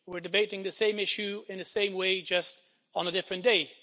We're debating the same issue, in the same way, just on a different day.